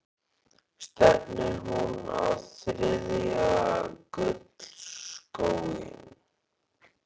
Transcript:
Stefnir hún á þriðja gullskóinn?